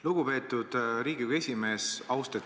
Lugupeetud Riigikogu esimees!